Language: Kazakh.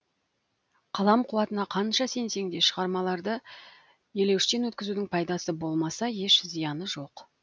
қалам қуатына қанша сенсең де шығармаларды елеуіштен өткізудің пайдасы болмаса еш зияны жоқ